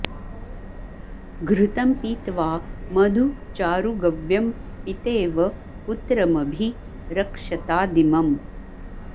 घृ॒तं पी॒त्वा मधु॒ चारु॒ गव्यं॑ पि॒तेव॑ पु॒त्रम॒भि र॑क्षतादि॒मम्